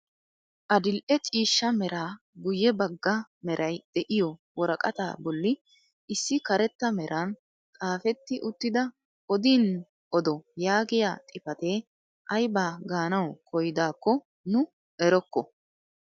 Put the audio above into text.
Adil'e ciishsha mera guyye bagga meray de'iyoo woraqataa bolli issi karetta meraan xaafetti uttida "odiin odo" yaagiyaa xifatee aybaa gaanawu koyidakko nu erokko.